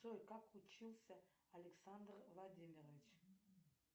джой как учился александр владимирович